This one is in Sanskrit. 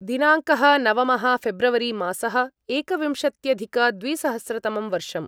दिनाङ्कः नवमः फेब्रवरिमासः एकविंशत्यधिकद्विसहस्रतमं वर्षम्